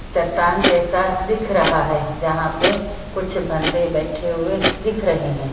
चट्टान जैसा दिख रहा है जहां पे कुछ बंदे बैठे हुए दिख रहे हैं।